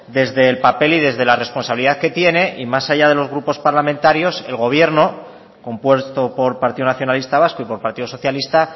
desde el papel y desde la responsabilidad que tiene y más allá de los grupos parlamentarios el gobierno compuesto por partido nacionalista vasco y por partido socialista